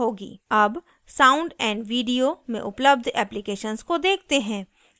अब sound & video में उपलब्ध applications को देखते हैं